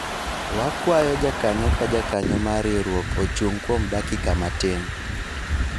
wakwayo jakanyo ka jakanyo mar riwruok ochung' kuom dakika matin